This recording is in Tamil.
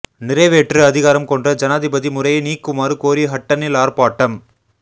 நிறைவேற்று அதிகாரம் கொண்ட ஜனாதிபதி முறையை நீக்குமாறு கோரி ஹட்டனில் ஆர்ப்பாட்டம்